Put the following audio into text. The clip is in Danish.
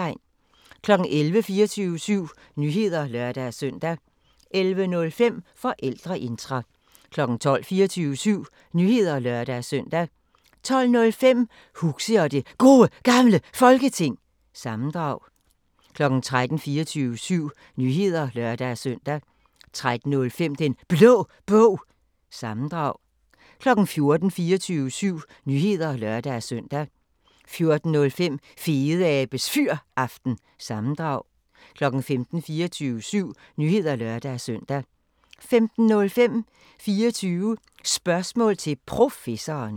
11:00: 24syv Nyheder (lør-søn) 11:05: Forældreintra 12:00: 24syv Nyheder (lør-søn) 12:05: Huxi og det Gode Gamle Folketing – sammendrag 13:00: 24syv Nyheder (lør-søn) 13:05: Den Blå Bog – sammendrag 14:00: 24syv Nyheder (lør-søn) 14:05: Fedeabes Fyraften – sammendrag 15:00: 24syv Nyheder (lør-søn) 15:05: 24 Spørgsmål til Professoren